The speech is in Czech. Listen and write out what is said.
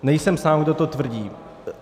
Nejsem sám, kdo to tvrdí.